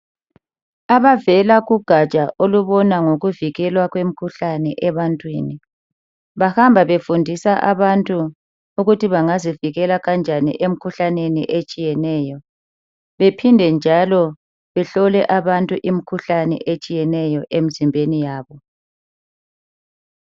Abavela kugatsha olubona ngokuvikelwa kwemkhuhlane ebantwini. Bahamba befundisa abantu ukuthi bangazivikela kanjani emkhuhlaneni etshiyeneyo bephinde njalo behlole abantu imkhuhlane etshiyeneyo emzimbeni yabo